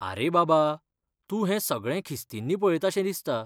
आरे बाबा, तूं हें सगळें खिस्तींनी पळयताशें दिसता.